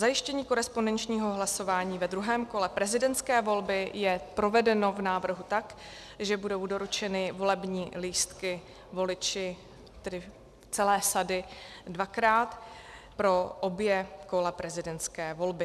Zajištění korespondenčního hlasování ve druhém kole prezidentské volby je provedeno v návrhu tak, že budou doručeny volební lístky voliči, tedy celé sady, dvakrát, pro obě kola prezidentské volby.